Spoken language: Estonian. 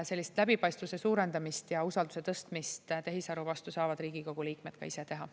Sellist läbipaistvuse suurendamist ja usalduse tõstmist tehisaru vastu saavad Riigikogu liikmed ka ise teha.